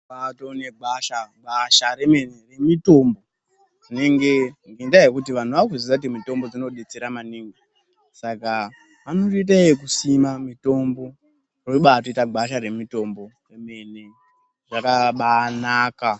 Kwatone negwesha remene gwasha remitombo ngenda yekuti vantu vakuzviziva kuti mitombo inodetsera maningi. Saka vanotoita yekusima mitombo robaita gwasha remitombo remene zvakabanaka.